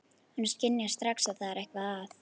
Hún skynjar strax að það er eitthvað að.